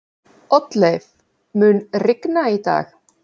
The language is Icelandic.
Oddleif, mun rigna í dag?